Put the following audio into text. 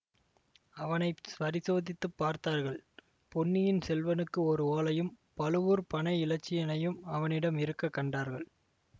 அவனை பரிசோதித்துப் பார்த்தார்கள் பொன்னியின் செல்வனுக்கு ஓர் ஓலையும் பழுவூர் பனை இலச்சினையும் அவனிடம் இருக்க கண்டார்கள்